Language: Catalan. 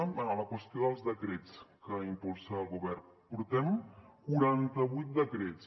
bé la qüestió dels decrets que impulsa el govern portem quaranta vuit decrets